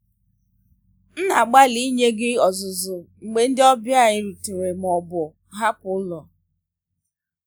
m na-agbalị ịnye gị nzuzo mgbe ndị ọbịa gị rutere ma ọ bụ hapụ ụlọ.